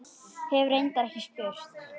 Hef reyndar ekki spurt.